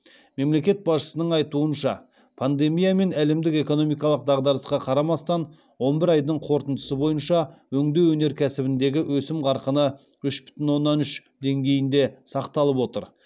мемлекет басшысының айтуынша пандемия мен әлемдік экономикалық дағдарысқа қарамастан он бір айдың қорытындысы бойынша өңдеу өнеркәсібіндегі өсім қарқыны үш бүтін оннан үш деңгейінде сақталып отыр